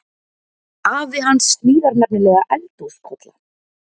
Afi hans smíðar nefnilega eldhúskolla.